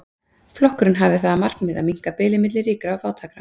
Flokkurinn hafði það að markmiði að minnka bilið milli ríkra og fátækra.